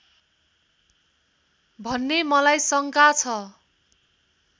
भन्ने मलाई शङ्का छ